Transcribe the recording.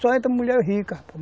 Só entra mulher rica